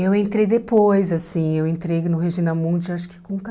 Eu entrei depois, assim, eu entrei no Regina Mundi acho que com